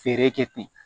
Fɛɛrɛ kɛ ten